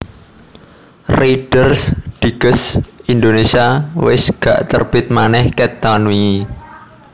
Reader's Digest Indonesia wes gak terbit maneh ket taun wingi